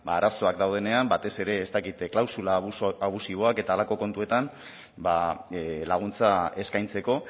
ba arazoak daudenean batez ere ez dakit klausula abusiboak eta halako kontuetan ba laguntza eskaintzeko